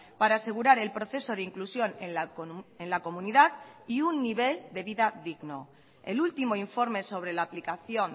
para asegurar el proceso de inclusión en la comunidad y un nivel de vida digno el último informe sobre la aplicación